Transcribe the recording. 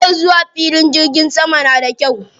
Hanyar zuwa filin jirgin saman na da kyau.